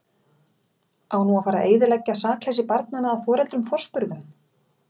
Á nú að fara eyðileggja sakleysi barnanna að foreldrum forspurðum?